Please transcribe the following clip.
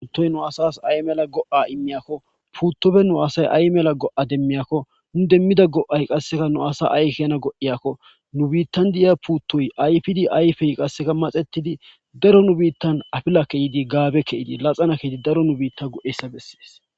untoy nu asas ay mela go7a immiyakko puuttopfe nu asay ay mela go7a demmiyakko nu demmida go7ay qasseka nu asa aykena go7iyakko nu biittan di7iya puuttoy ayfidi ayfey qasseka maxetidi daro nu biittan afila keyidi gaabe ke7idi laxana keidi daro nu biitta go7essa bessees